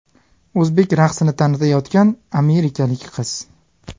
O‘zbek raqsini tanitayotgan amerikalik qiz.